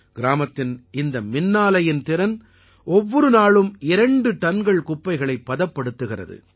கிராமத்தின் இந்த மின்னாலையின் திறன் ஒவ்வொரு நாளும் 2 டன்கள் குப்பைகளைப் பதப்படுத்துகிறது